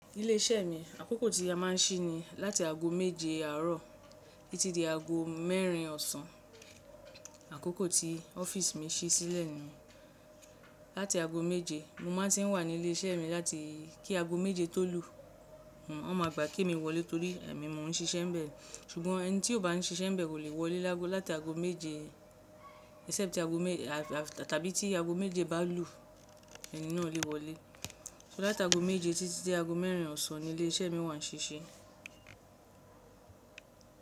Ilé iṣẹ́ mi, àkókò tí a máà ń ṣí ni láti ago méje àárọ̀ títí dé ago mẹ́rin ọ̀sán. Àkókò tí ọ́fíìsì mi ṣí sílẹ̀ ni láti ago méje. Mo máà ń ti wà ní ilé iṣẹ́ mi láti kí ago méje tó lù. Wọ́n ma gbà kí mi wọlé torí èmi mò ń ṣisé ń bẹ. Ṣùgbọ́n ẹni tí kò bá ń ṣise ń bẹ kò lè wọlé lágo láti ago méje tàbí tí ago méje bá lù ẹni náà lè wọlé. Láti aago méje titi di aago mẹ́rin osan ni ilese mi wa ni sisi.